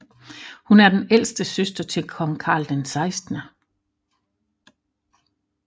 Hun er den ældste søster til kong Carl 16